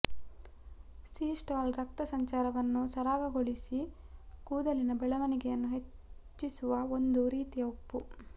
sea salt ರಕ್ತ ಸಂಚಾರವನ್ನು ಸರಾಗಗೊಳಿಸಿ ಕೂದಲಿನ ಬೆಳವಣಿಗೆಯನ್ನು ಹೆಚ್ಚಿಸುವ ಒಂದು ರೀತಿಯ ಉಪ್ಪು